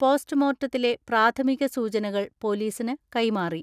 പോസ്റ്റ്മോർട്ടത്തിലെ പ്രാഥമിക സൂചനകൾ പോലീസിന് കൈമാറി